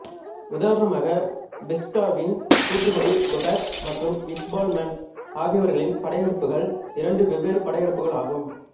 உதாரணமாக ஃபிரிஷ்டாவின் கூற்றுப்படி கொபெக் மற்றும் இக்பால்மண்ட் ஆகியோர்களின் படையெடுப்புகள் இரண்டு வெவ்வேறு படையெடுப்புகள் ஆகும்